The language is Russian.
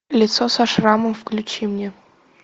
лицо со шрамом включи мне